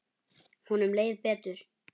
Honum leið betur.